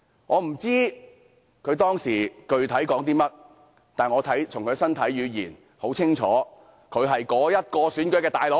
我不知道他當時具體說了些甚麼，但我從他們的身體語言清楚看出，他就是選舉的"老大哥"。